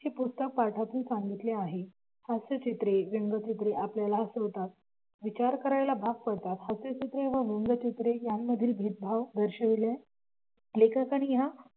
ते पुस्तक पाठातून सांगितले आहे. हास्यचित्रे व्यंगचित्रे आपल्याला हसवतात विचार करायला भाग पाडतात हास्यचित्रे व व्यंगचित्रे यामधील भेदभाव दर्शविले लेखकाने या